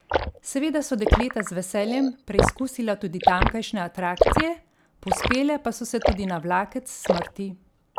Seveda so dekleta z veseljem preizkusila tudi tamkajšnje atrakcije, povzpele pa so se tudi na vlakec smrti.